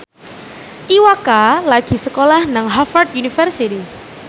Iwa K lagi sekolah nang Harvard university